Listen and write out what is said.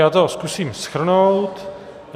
Já to zkusím shrnout.